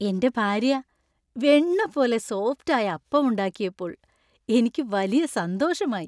എന്‍റെ ഭാര്യ വെണ്ണ പോലെ സോഫ്റ്റ് ആയ അപ്പം ഉണ്ടാക്കിയപ്പോൾ എനിക്ക് വലിയ സന്തോഷമായി .